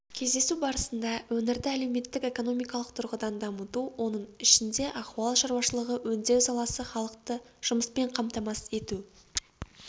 кездесу барысында өңірді әлеуметтік-экономикалық тұрғыдан дамыту оның ішінде ауыл шаруашылығы өңдеу саласы халықты жұмыспен қамтамасыз ету